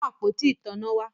Mú àpótí ìtanná wá!